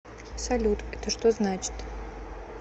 салют это что значит